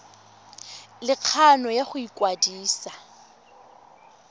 le kgano ya go ikwadisa